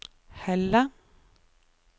Helle